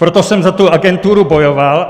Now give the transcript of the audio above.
Proto jsem za tu agenturu bojoval.